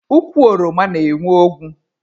Ukwu oroma na-enwe ogwu.